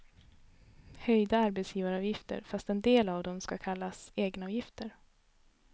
Höjda arbetsgivaravgifter, fast en del av dem ska kallas egenavgifter.